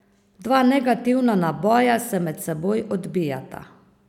Dva negativna naboja se med seboj odbijata.